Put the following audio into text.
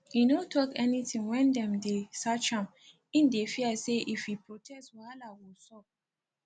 e no tok anything wen dem dey search am im dey fear say if e protest wahala go sup